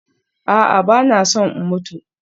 A'a, ba na son in mutu